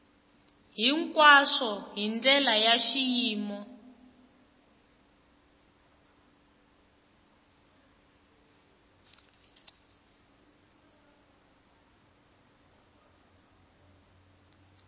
hinkwaswo hi ndlela ya xiyimo